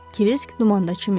Kirisk dumanda çimir.